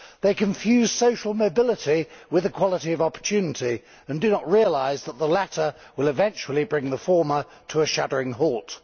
They confuse social mobility with equality of opportunity and do not realise that the latter will eventually bring the former to a shuddering halt.